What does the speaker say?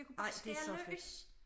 Jeg kunne bare skære løs